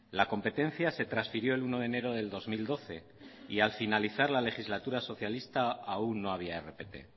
la competencia se transfirió el uno de enero del dos mil doce y al finalizar la legislatura socialista aún no había rpt